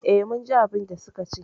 Eh, mun ji abinda suka ce